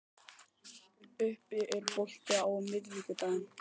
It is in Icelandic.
Ubbi, er bolti á miðvikudaginn?